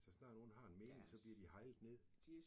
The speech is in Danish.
Så snart nogen har en mening så bliver de haglet ned